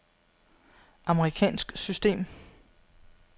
amerikansk system